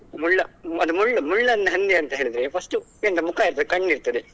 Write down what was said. ಮುಳ್ಳ ಅದು ಮುಳ್ಳ~ ಮುಳ್ಳನ್ನ ಹಂದಿ ಅಂತ ಹೇಳಿದ್ರೆ first ಮುಖ ಇರ್ತದೆ ಕಣ್ಣು ಇರ್ತದೆ.